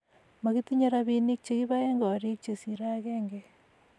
makitinye robinik che kiboen koriik che sirei agenge